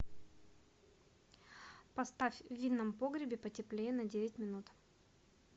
поставь в винном погребе потеплее на девять минут